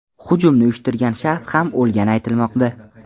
Hujumni uyushtirgan shaxs ham o‘lgani aytilmoqda.